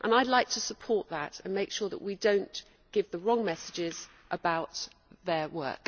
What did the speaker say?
I would like to support that and make sure that we do not give the wrong messages about their work.